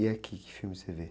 E aqui, que filme você vê?